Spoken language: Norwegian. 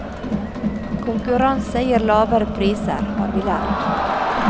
Konkurranse gir lavere priser, har vi lært.